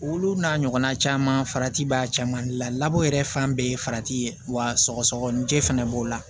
Olu n'a ɲɔgɔnna caman farati b'a caman de la labɔ yɛrɛ fan bɛɛ ye farati ye wa sɔgɔsɔgɔninjɛ fɛnɛ b'o la